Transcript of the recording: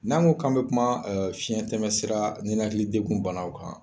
N'an ko kalo bana kuma fiɲɛtɛmɛsira ninakilidegun banaw kan.